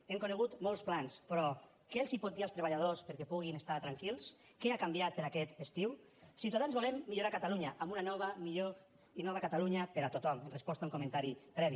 hem conegut molts plans però què els pot dir als treballadors perquè puguin estar tranquils què ha canviat per a aquest estiu ciutadans volem millorar catalunya amb una millor i nova catalunya per a tothom en resposta a un comentari previ